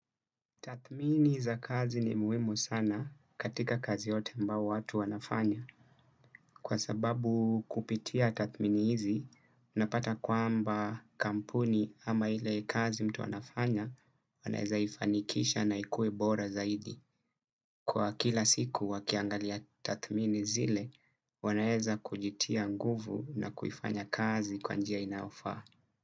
Tathmini za kazi ni muhimu sana katika kazi yote ambayo watu wanafanya. Kwa sababu kupitia tathmini hizi, unapata kwamba kampuni ama ile kazi mtu anafanya, anaeza ifanikisha na ikue bora zaidi. Kwa kila siku wakiangalia tathmini zile, wanaeza kujitia nguvu na kuifanya kazi kwa njia inayofaa.